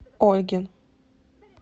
ольгин